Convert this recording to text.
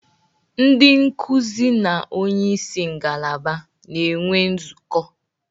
Ndị nkuzi na onye isi ngalaba na-enwe nzukọ